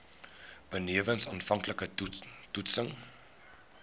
benewens aanvanklike toetsings